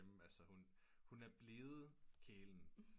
Hun er blevet kælen